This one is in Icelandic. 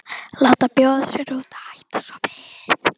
Láta bjóða sér út og hætta svo við.